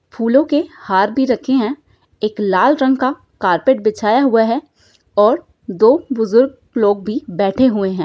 फूलों के हार भी रखे है एक लाल रंग का कार्पेट बिछाया हुआ है और दो बुजुर्ग लोग भी बैठे हुए है।